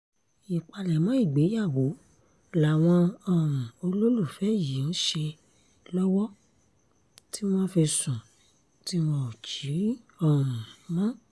ìpalẹ̀mọ́ ìgbéyàwó làwọn um olólùfẹ́ yìí ń ṣe lọ́wọ́ tí wọ́n fi sùn tí wọn ò jí um mọ́